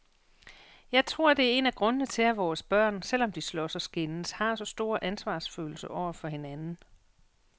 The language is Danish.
Jeg tror det er en af grundene til, at vores børn, selv om de slås og skændes, har så stor ansvarsfølelse over for hinanden.